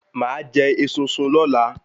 Màá jẹ esunsun lọ́la